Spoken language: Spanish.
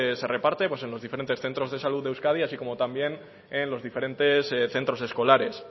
se reparte pues en los diferentes centros de salud de euskadi y así como también en los diferentes centros escolares